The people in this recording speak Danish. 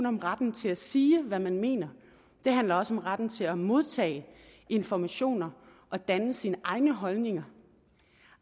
om retten til at sige hvad man mener det handler også om retten til at modtage informationer og danne sig sine egne holdninger